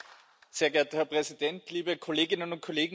Sehr geehrter Herr Präsident, liebe Kolleginnen und Kollegen!